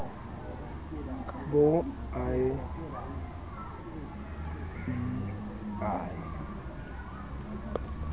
ka bo a e i